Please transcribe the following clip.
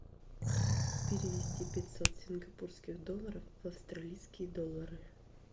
перевести пятьсот сингапурских долларов в австралийские доллары